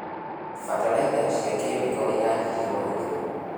Bataraitha cia kĩmĩko nĩciranyihio mahũthĩro.